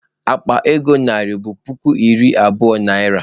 Akpa ego narị bụ puku iri abụo naịra.